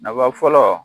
Nafa fɔlɔ